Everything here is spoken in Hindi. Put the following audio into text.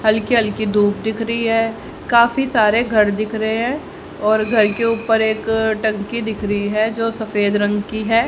हल्की हल्की धूप दिख रही है काफी सारे घर दिख रहे है और घर के ऊपर एक टंकी दिख रही है जो सफेद रंग की है।